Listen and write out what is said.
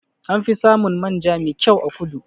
Anfi samun manja me kyau a kudu.